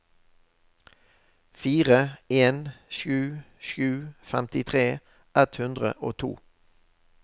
fire en sju sju femtitre ett hundre og to